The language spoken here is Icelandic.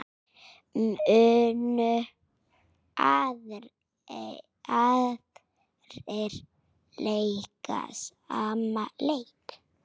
Munu aðrir leika sama leik?